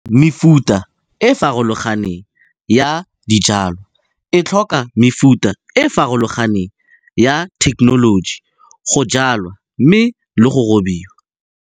Mefuta e e farologaneng ya dijwalwa e tlhoka mefuta e e farolganeng ya thekenoloji go jwalwa mme le go robiwa.